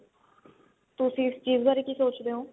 ਤੁਸੀਂ ਇਸ ਚੀਜ਼ ਬਾਰੇ ਕੀ ਸੋਚਦੇ ਹੋ